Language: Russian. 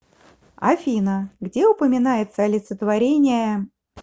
афина где упоминается олицетворение